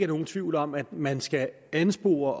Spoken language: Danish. nogen tvivl om at man skal anspore